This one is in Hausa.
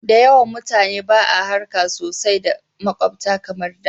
Da yawan mutane ba a harka sosai da makwabta kamar da